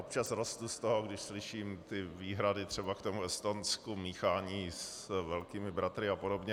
Občas rostu z toho, když slyším ty výhrady, třeba k tomu Estonsku, míchání s velkými bratry a podobně.